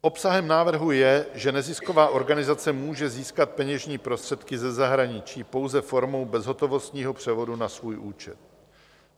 Obsahem návrhu je, že nezisková organizace může získat peněžní prostředky ze zahraničí pouze formou bezhotovostního převodu na svůj účet.